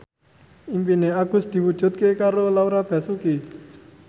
impine Agus diwujudke karo Laura Basuki